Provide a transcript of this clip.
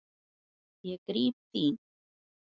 Ég gríp þín.